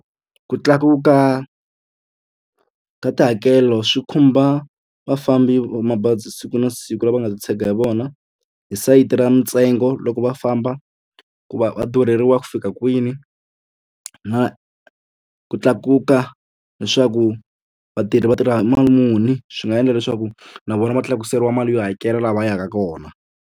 Ku tlakuka ka tihakelo swi khumba vafambi va mabazi siku na siku lava nga titshega hi wona hi sayiti ra mitsengo loko va famba ku va va durheriwa ku fika kwini na ku tlakuka leswaku va tirhi vatirha mali muni swi nga endla leswaku na vona va tlakuseriwa mali yo hakela laha va yaka kona.